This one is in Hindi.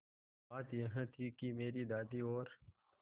बात यह थी कि मेरी दादी और